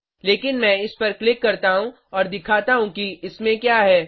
लेकिन मैं इस पर क्लिक करता हूँ और दिखाता हूँ कि इसमें क्या है